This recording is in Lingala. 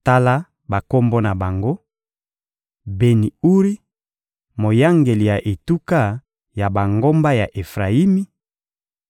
Tala bakombo na bango: Beni-Uri: moyangeli ya etuka ya bangomba ya Efrayimi;